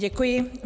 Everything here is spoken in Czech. Děkuji.